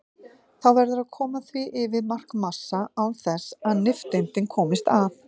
Þá verður að koma því yfir markmassa án þess að nifteindir komist að.